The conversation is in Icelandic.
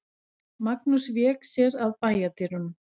Magnús vék sér að bæjardyrunum.